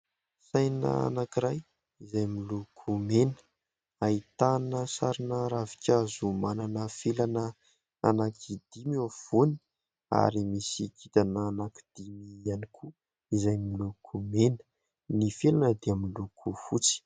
Saina anankiray izay miloko mena, ahitana sarina ravinkazo manana felana anankidimy eo afovoany ary misy kintana anankidimy ihany koa izay miloko mena. Ny felana dia miloko fotsy.